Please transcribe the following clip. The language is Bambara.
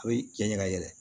A bɛ cɛ ɲɛ ka yɛlɛ